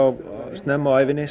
snemma á ævinni